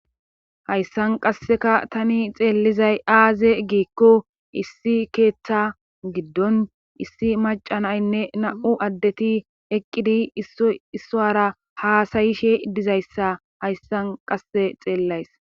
hayssan qasseka tani xeellizay aaze giikko issi keeththa giddon issi macanaynne na7u addeti eqqidi issoara haasayishe dizayssa hayssan qasse xeellays